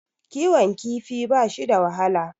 Kiwon kifi bashi da wahala.